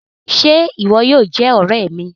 Ṣe ìwò yóò jé òré mí?